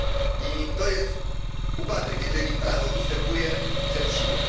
I to jest upadek, jeżeli prawo ustępuje przed siłą.